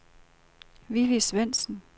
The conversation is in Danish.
Vivi Svendsen